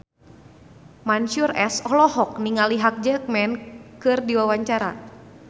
Mansyur S olohok ningali Hugh Jackman keur diwawancara